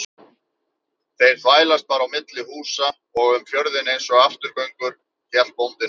Þeir þvælast bara á milli húsa og um fjörðinn einsog afturgöngur, hélt bóndinn áfram.